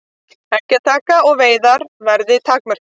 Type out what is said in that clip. Eggjataka og veiðar verði takmörkuð